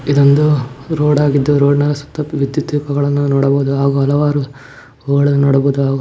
ಇದೊಂದು ರೋಡಾಗಿದ್ದು ರೋಡ್ ನ ಸುತ್ತ ವಿದ್ಯುತ್ ದೀಪಗಳನ್ನು ನೋಡಬಹುದು ಹಾಗೂ ಹಲವಾರು ಗೋಲ್ಡನ್ ನೋಡಬಹುದು ಹಾಗು --